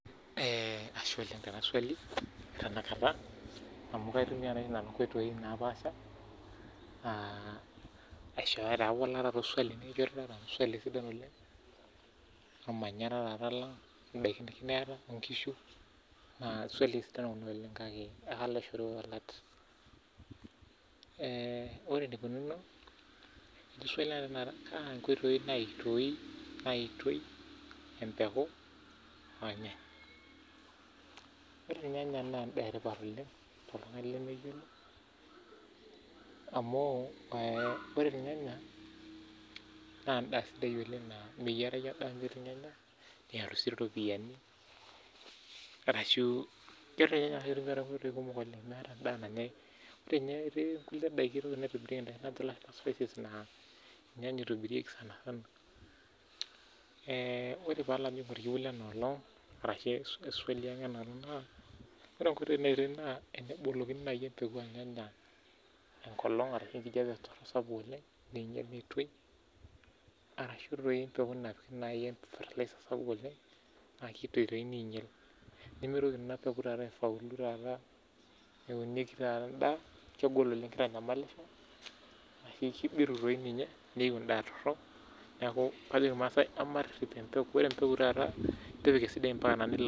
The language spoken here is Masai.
Aitumia nai inkoitoi naapaasha amu sidai enaswali Ore ilnyanya naa imbaa etipat oleng toltungani lemeyiolo amu ore ninye ena naa endaa sidai naa meyierayu endaa metii ilnyanya neyau sii iropiani arashu etii ninye Kulie daiki naajo ilashumba spices naa ilnyanya itobirieki sanisana Ore enkoitoi naa tenebolokini naai embeku olnyanya enkolong ashu enkijape sapuk oleng ninye naitoi arashu dii tenepiki fatalaiza sapuk oleng naunieki taata naa kegol oleng kitanyamalisho ashu kibiru dii ninye neyiu imbaa torhok niaku ajoki ilmaasai matuun embeku sidai